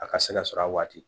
A ka se ka sɔrɔ a waati